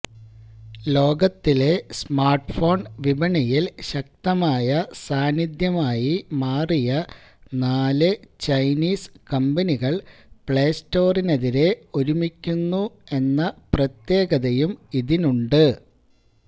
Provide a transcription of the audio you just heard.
ലോകത്തിലെ സ്മാർട്ട്ഫോൺ വിപണിയിൽ ശക്തമായ സാന്നിധ്യമായി മാറിയ നാല് ചൈനിസ് കമ്പനികൾ പ്ലേ സ്റ്റോറിനെതിരെ ഒരുമിക്കുന്നു എന്ന പ്രത്യേകതയും ഇതിനുണ്ട്